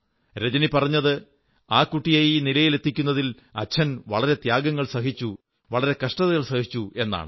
രജനി പറഞ്ഞത് ആ കൂട്ടിയെ ഈ നിലയിലെത്തിക്കുന്നതിൽ അച്ഛൻ വളരെ ത്യാഗങ്ങൾ സഹിച്ചു വളരെ കഷ്ടതകൾ സഹിച്ചു എന്നാണ്